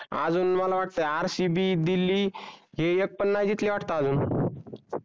अजून मला वाटत rcb दिल्ली हे एकपण नाही जिकले वाटते अजून